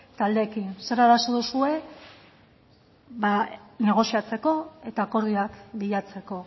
taldeekin zer arazo duzuen negoziatzeko eta akordioak bilatzeko